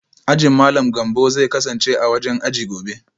Ajin Malam Gambo zai kasance a wajen aji gobe